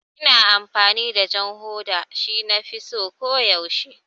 Ina amfani da jan hoda, shi nafi so ko yaushe